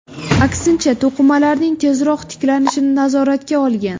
Aksincha, to‘qimalarning tezroq tiklanishini nazoratga olgan.